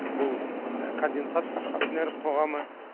бұл конденсат акционерлік қоғамы